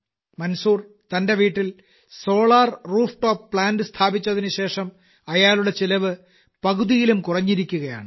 മൻസൂർ തന്റെ വീട്ടിൽ solar rooftop plant സ്ഥാപിച്ചതിനുശേഷം അയാളുടെ ചെലവ് പകുതിയിലും കുറഞ്ഞിരിക്കുകയാണ്